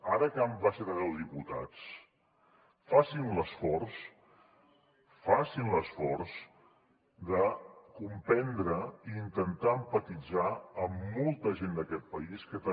ara que han baixat a deu diputats facin l’esforç facin l’esforç de comprendre i intentar empatitzar amb molta gent d’aquest país que també